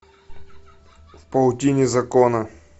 в паутине закона